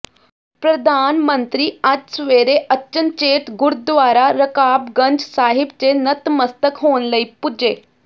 ਪ੍ਰਧਾਨ ਮੰਤਰੀ ਅੱਜ ਸਵੇਰੇ ਅਚਨਚੇਤ ਗੁਰਦੁਆਰਾ ਰਕਾਬਗੰਜ ਸਾਹਿਬ ਚ ਨਤਮਸਤਕ ਹੋਣ ਲਈ ਪੁੱਜੇ